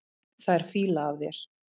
Það er fýla af þér.